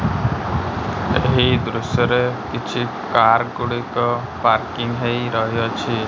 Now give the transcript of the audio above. ଏହି ଦୃଶ୍ୟ ରେ କିଛି କାର୍ ଗୁଡ଼ିକ ପାର୍କିଂ ହେଇ ରହିଅଛି।